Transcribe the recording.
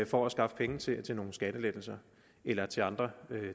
for at skaffe penge til til nogle skattelettelser eller til andre